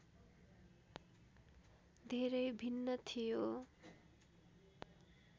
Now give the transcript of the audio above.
धेरै भिन्न थियो